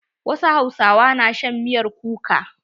Wasu hausawa na shan miyar kuka.